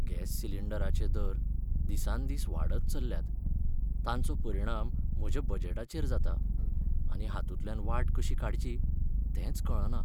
Gas सिलिंडराचे दर दिसान दीस वाडत चल्ल्यात. तांचो परिणाम म्हज्या बजेटाचेर जाता, आनी हांतूंतल्यान वाट कशी काडची तेंच कळना.